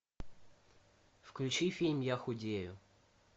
включи фильм я худею